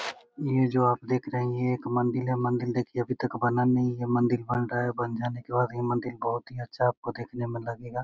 ये जो आप देख रही है एक मंदिल है मंदिल देखिये अभी तक बना नही है| मंदिल बन रहा है बन जाने के बाद ये मंदिर बहुत ही अच्छा आपको देखने मे लगेगा।